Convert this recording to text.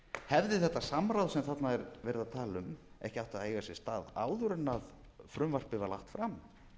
hefði þetta samráð sem þarna er verið að tala um ekki átt að eiga sér stað áður en frumvarpið var lagt fram